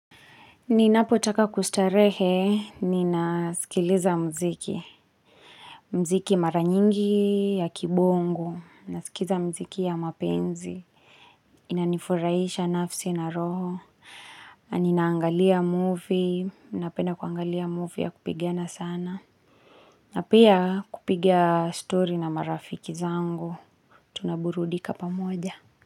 Ninapo taka kustarehe, nina sikiliza mziki. Mziki maranyingi ya kibongo. Naskiza mziki ya mapenzi. Inanifuraisha nafsi na roho. Ninaangalia movie. Napenda kuangalia movie ya kupigiana sana. Napia kupigia story na marafiki zangu. Tunaburudika pamoja.